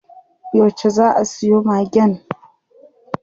Yauce zaa a siyo Magen?